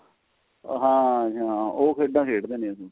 ਉਹ ਹਾਂ ਜੀ ਹਾਂ ਉਹ ਖੇਡਾ ਖੇਡਦੇ ਨੇ ਜੀ ਉਹ